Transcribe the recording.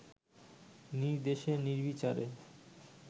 নির্দেশে নির্বিচারে